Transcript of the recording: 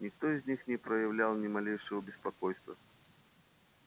никто из них не проявлял ни малейшего беспокойства